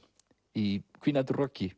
í hvínandi roki